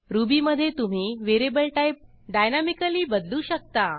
रुबीमधे तुम्ही variable type dynamically बदलू शकता